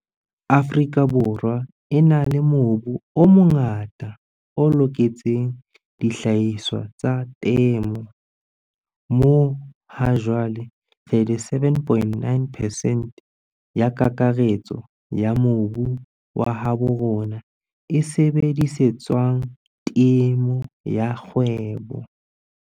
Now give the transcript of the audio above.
Afrika Borwa e na le mobu o mongata o loketseng dihlahiswa tsa temo, moo hajwale 37,9 percent ya kakaretso ya mobu wa habo rona e sebedisetswang temo ya kgwebo.